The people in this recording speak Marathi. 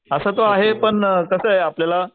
असं तो आहे पण कसं आहे आपल्याला